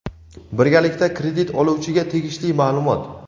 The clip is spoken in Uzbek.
birgalikda kredit oluvchiga tegishli ma’lumot.